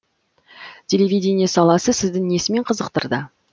телевидение саласы сізді несімен қызықтырды